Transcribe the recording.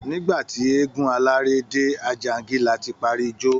Nígbà tí eégún alárè dé, Àjàǹgìlá ti parí ijó